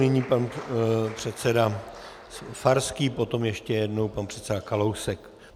Nyní pan předseda Farský, potom ještě jednou pan předseda Kalousek.